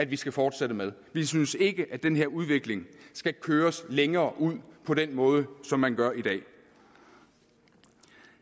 vi skal fortsætte med vi synes ikke at den her udvikling skal køres længere ud på den måde som man gør i dag